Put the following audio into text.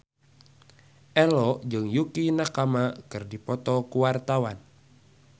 Ello jeung Yukie Nakama keur dipoto ku wartawan